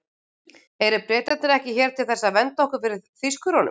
Eru Bretarnir ekki hér til þess að vernda okkur fyrir Þýskurunum?